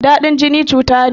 Dadin jini cuta ne.